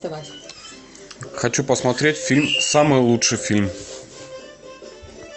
хочу посмотреть фильм самый лучший фильм